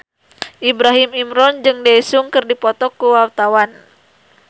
Ibrahim Imran jeung Daesung keur dipoto ku wartawan